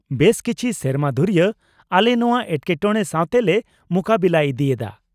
-ᱵᱮᱥ ᱠᱤᱪᱷᱤ ᱥᱮᱨᱢᱟ ᱫᱷᱩᱨᱭᱟᱹ ᱟᱞᱮ ᱱᱚᱶᱟ ᱮᱴᱠᱮᱴᱚᱬᱮ ᱥᱟᱶᱛᱮ ᱞᱮ ᱢᱩᱠᱟᱹᱵᱮᱞᱟ ᱤᱫᱤᱭᱮᱫᱟ ᱾